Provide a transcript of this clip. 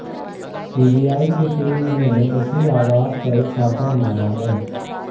CBI की team ने इसी आवास पर छापा मारा है